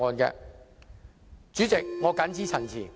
代理主席，我謹此陳辭。